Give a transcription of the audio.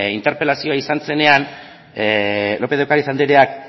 interpelazioa izan zenean lópez de ocariz andreak